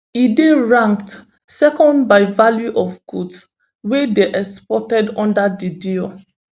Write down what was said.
e dey ranked second by value of goods wey dey exported under di deal